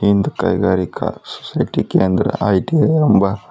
ಹಿಂದ್ ಕೈಗಾರಿಕಾ ಸೊಸೈಟಿ ಕೇಂದ್ರ ಐ_ಟಿ_ಐ ಎಂಬ--